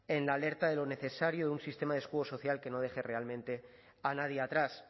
en la alerta de lo necesario de un sistema de escudo social que no deje realmente a nadie atrás